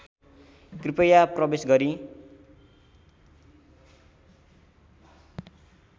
कृपया प्रवेश गरी